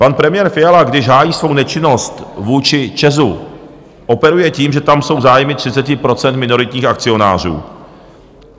Pan premiér Fiala, když hájí svou nečinnost vůči ČEZ, operuje tím, že tam jsou zájmy 30 % minoritních akcionářů.